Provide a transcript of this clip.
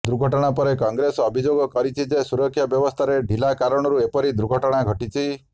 ଦୁର୍ଘଟଣା ପରେ କଂଗ୍ରେସ ଅଭିଯୋଗ କରିଛି ଯେ ସୁରକ୍ଷା ବ୍ୟବସ୍ଥାରେ ଢିଲା କାରଣରୁ ଏପରି ଦୁର୍ଘଟଣା ଘଟିଛି